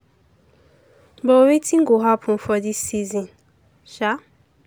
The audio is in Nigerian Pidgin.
but wetin go happun for dis season? um